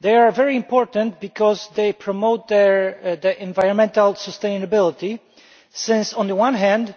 They are very important because they promote environmental sustainability, as on the one hand